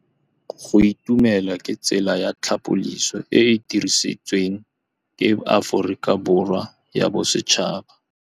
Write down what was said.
Go itumela ke tsela ya tlhapolisô e e dirisitsweng ke Aforika Borwa ya Bosetšhaba.